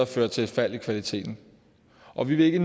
føre til et fald i kvaliteten og vi vil ikke